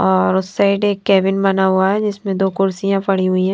और उस साइड एक कैबिन बना हुआ है जिसमें दो कुर्सियां पड़ी हुईं हैं।